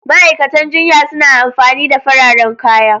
Ma'aikatan jinya suna amfani da fararen kaya.